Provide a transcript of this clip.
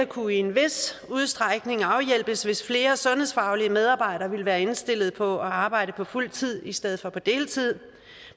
kunne i en vis udstrækning afhjælpes hvis flere sundhedsfaglige medarbejdere ville være indstillet på at arbejde på fuld tid i stedet for på deltid